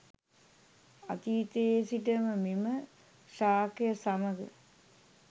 අතීතයේ සිටම මෙම ශාකය සමඟ